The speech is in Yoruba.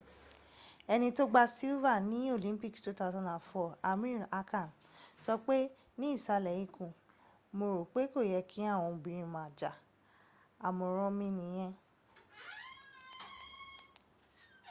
eni tó gba silver ní olympics 2004 amir khan sọ pé ní ìsàlẹ̀ ikùn mo rò pé kò yẹ kí àwọn obìnrin ma jà àmọ̀ràn mi nìyẹ